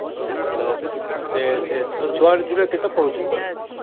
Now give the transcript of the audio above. ସେ ତୋ ଛୁଆ ଦୁଇଟା କଣ ପଢୁଛନ୍ତି